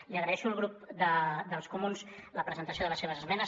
li agraeixo al grup dels comuns la presentació de les seves esmenes